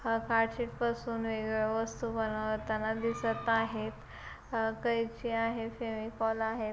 हा कार्डशीट पर वस्तु बनवताना दिसत आहेत अ कैची आहे फेविकॉल आहे.